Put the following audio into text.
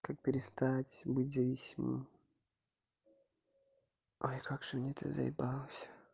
как перестать быть зависимым ай как же мне это заебало всё